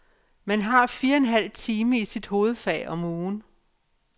Man har fire en halv time i sit hovedfag om ugen.